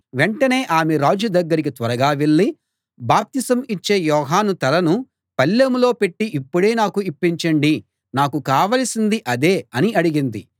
వెంటనే ఆమె రాజు దగ్గరికి త్వరగా వెళ్ళి బాప్తిసం ఇచ్చే యోహాను తలను పళ్ళెంలో పెట్టి ఇప్పుడే నాకు ఇప్పించండి నాకు కావలసింది అదే అని అడిగింది